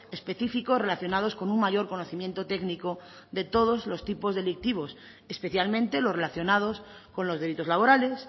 específicos relacionados con un mayor conocimiento técnico de todos los tipos delictivos especialmente los relacionados con los delitos laborales